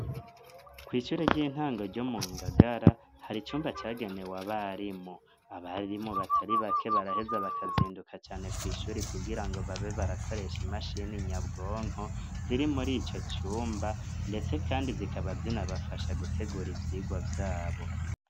Kw'ishure ry'intango ryo mu ngagara har'icumba cagenewe abarimu, abarimu batari bake baraheza bakazinduka cane kw' ishuri kugira ngo babe barakoresha imashini inyabwonko ziri muri ico cumba ndetse kandi zikaba zina bafasha gutegura ivyigwa vyabo.